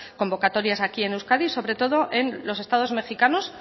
convocatorias aquí en euskadi sobre todo en los estados mejicanos